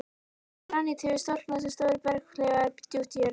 Granít hefur storknað sem stórir berghleifar djúpt í jörðu.